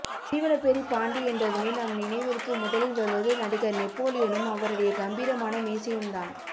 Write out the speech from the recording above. சீவலப்பேரி பாண்டி என்றதுமே நம் நினைவிற்கு முதலில் வருவது நடிகர் நெப்போலியனும் அவருடைய கம்பீரமான மீசையும் தான்